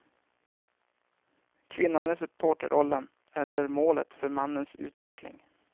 Kvinnan är supporterrollen eller målet för mannens utveckling.